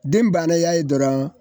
Den banna y'a ye dɔrɔn